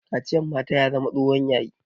Kaciyar mata ya zama tsohon yayi